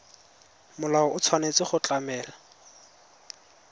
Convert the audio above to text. molao o tshwanetse go tlamela